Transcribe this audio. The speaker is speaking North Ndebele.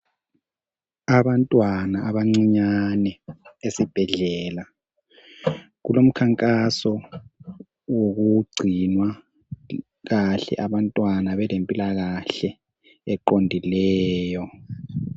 Abantwana abancinyane esibhedlela ,kulomkhankaso wokugcinwa kahle abantwana belempilakahle eqondileyo.